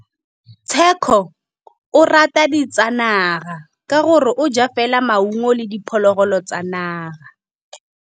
Tshekô o rata ditsanaga ka gore o ja fela maungo le diphologolo tsa naga.